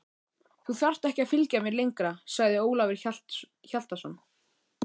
Þú þarft ekki að fylgja mér lengra, sagði Ólafur Hjaltason.